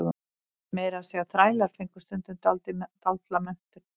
Meira að segja þrælar fengu stundum dálitla menntun.